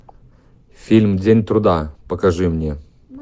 фильм день труда покажи мне